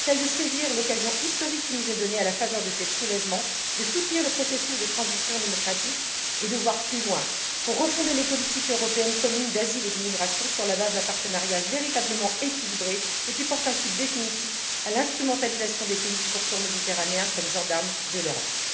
Celle de saisir l'occasion historique qui nous est donnée, à la faveur de ces soulèvements, de soutenir le processus de transition démocratique et de voir plus loin pour refonder les politiques européennes communes d'asile et d'immigration sur la base d'un partenariat véritablement équilibré et qui porte un coup définitif à l'instrumentalisation des pays du pourtour méditerranéen comme gendarmes de l'Europe.